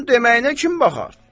Onun deməyinə kim baxar?